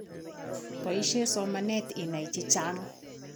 Poishe somanet inai chechang